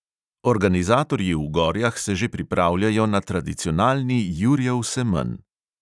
Organizatorji v gorjah se že pripravljajo na tradicionalni jurjev semenj.